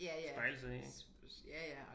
Spejle sig i ik